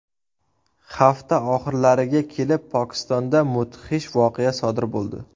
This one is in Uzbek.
Hafta oxirlariga kelib Pokistonda mudhish voqea sodir bo‘ldi.